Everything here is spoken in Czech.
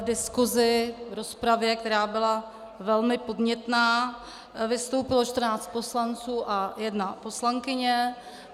V diskusi, v rozpravě, která byla velmi podnětná, vystoupilo 14 poslanců a jedna poslankyně.